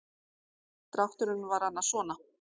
Drátturinn var annars svona.